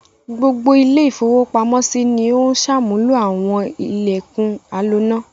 Gbogbo ilé-ìfowópamọ́sí ni ó ń ṣàmúlò àwọn ilẹ̀kùn aloná.